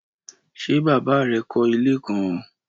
Ṣe baba rẹ kọ ile kan?